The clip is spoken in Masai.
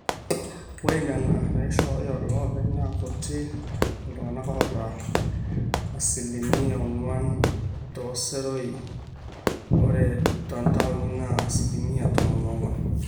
ore nena naaishooyo iloopeny naa kuti iltung'anak oota aa asilimia ong'wan tooseroi ore toontaoni naa asilimiatomon oong'wan